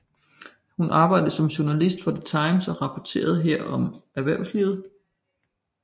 Hun arbejdede som journalist for The Times og rapporterede her om erhvervslivet